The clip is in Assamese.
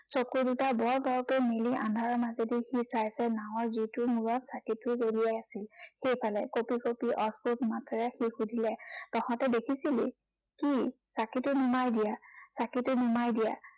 চকু দুটা বৰ বৰকৈ মেলি আন্ধাৰৰ মাজেদি সি চাই চাই নাঁৱৰ যিটো মূৰত চাঁকিটো জ্বলি আছিল, সেইফালে কঁপি কঁপি অদ্ভূত মাতেৰে সি সুধিলে, তহঁতি দেখিছিলি? কি চাঁকিটো নুমাই দিয়া, চাঁকিটো নুমাই দিয়া।